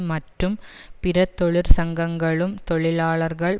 மற்றும் பிற தொழிற்சங்கங்களும் தொழிலாளர்கள்